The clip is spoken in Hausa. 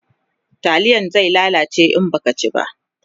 taliyan zai ya lalace in Baki ci ba